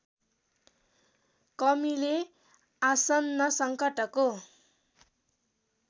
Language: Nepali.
कमीले आसन्न सङ्कटको